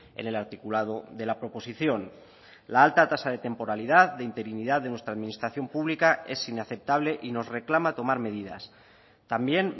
en el articulado de la proposición la alta tasa de temporalidad de interinidad de nuestra administración pública es inaceptable y nos reclama tomar medidas también